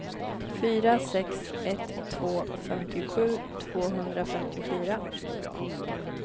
fyra sex ett två femtiosju tvåhundrafemtiofyra